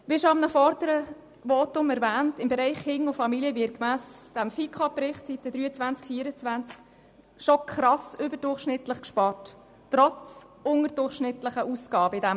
Wie bereits in einem früheren Votum erwähnt wurde, wird im Bereich Familien und Kinder gemäss dem Bericht der FiKo auf den Seiten 23 und 24 krass überdurchschnittlich gespart, obschon die Ausgaben in diesem Bereich unterdurchschnittlich sind.